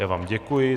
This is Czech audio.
Já vám děkuji.